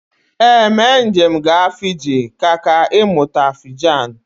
Ee, mee njem gaa Fiji ka kà ịmụta Fijan.